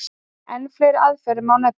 Enn fleiri aðferðir má nefna.